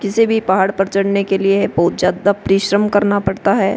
किसी भी पहाड़ पर चढने के लिए बोहोत ज्यादा परिश्रम करना पड़ता है।